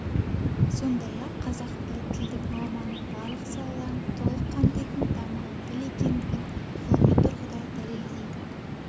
сондай-ақ қазақ тілі тілдік норманың барлық салаларын толық қамтитын дамыған тіл екендігін ғылыми тұрғыда дәлелдейді